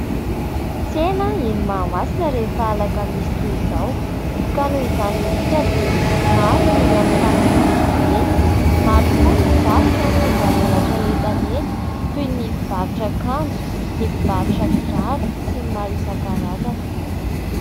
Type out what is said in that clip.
Tsena eny Mahamasina rehefa alakamisy toy izao ka noho izany indrindra dia maro ny olona mifamezivezy eny, maro koa ny mpivarotra ny tonga mamelatra etana eny toy ny mpivarotra akanjo, ny mpivarotra kiraro sy ny maro isan-karazany.